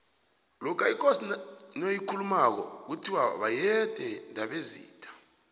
lokho ikosi noyikhulumako kuthiwa boyede ndobezitha